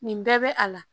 Nin bɛɛ bɛ a la